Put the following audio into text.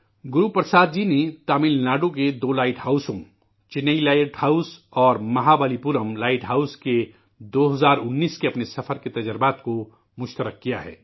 گرو پرساد جی نے تمل ناڈو کے دو لائٹ ہاؤسوں چنئی لائٹ ہاؤس اور مہابلی پورام لائٹ ہاؤس کی 2019 کے اپنے سفر کے تجربات کو شیئر کیا ہے